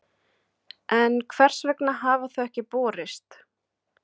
En hvers vegna hafa þau ekki borist?